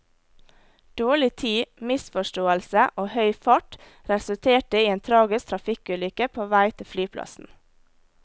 Dårlig tid, misforståelse og høy fart resulterte i en tragisk trafikkulykke på vei til flyplassen.